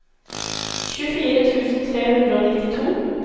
tjuefire tusen tre hundre og nittito